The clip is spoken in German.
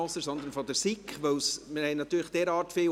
Ihnen wurde ein Ordnungsantrag der SiK ausgeteilt.